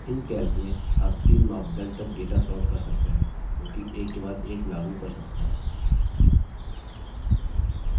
calc में आप तीन मापदंड तक data sort कर सकते हैं जोकि एक के बाद एक लागू कर सकते हैं